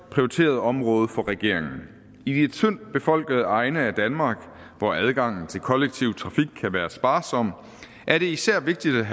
prioriteret område for regeringen i de tyndt befolkede egne af danmark hvor adgangen til kollektiv trafik kan være sparsom er det især vigtigt